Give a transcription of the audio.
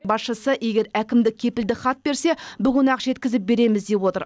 басшысы егер әкімдік кепілдік хат берсе бүгін ақ жеткізіп береміз деп отыр